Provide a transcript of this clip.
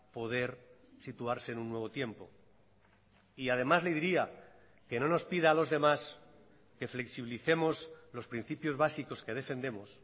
poder situarse en un nuevo tiempo y además le diría que no nos pida a los demás que flexibilicemos los principios básicos que defendemos